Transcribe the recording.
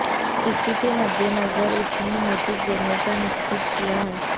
इसी के मद्देनजर उसने नोटिस देने का निश्चय किया है